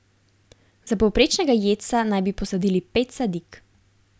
Za povprečnega jedca naj bi posadili pet sadik.